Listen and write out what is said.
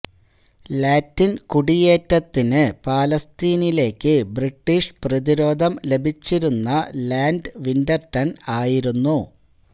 Latin കുടിയേറ്റത്തിന് ഫലസ്തീനിലേക്ക് British പ്രതിരോധം ലഭിച്ചിരുന്ന ലാഡ് വിന്റർടൺ ആയിരുന്നു